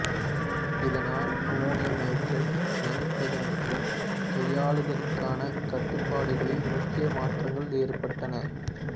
இதனால் அமோனியம் நைட்ரேட்டை சேமிப்பது மற்றும் கையாளுதலுக்கான கட்டுப்பாடுகளில் முக்கிய மாற்றங்கள் ஏற்பட்டன